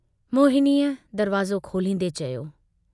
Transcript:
मोहनीअ दरवाज़ो खोलींदे चयो।